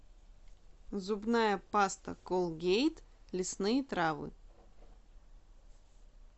зубная паста колгейт лесные травы